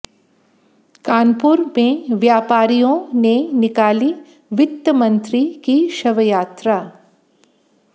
कानपुर में व्यापारियों ने निकाली वित्त मंत्री की शवयात्रा